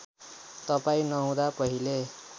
तपाईँ नहुँदा पहिले